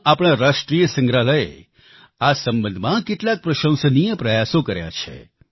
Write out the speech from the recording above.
દિલ્હીમાં આપણા રાષ્ટ્રિય સંગ્રહાલયે આ સંબંધમાં કેટલાક પ્રશંસનીય પ્રયાસો કર્યા છે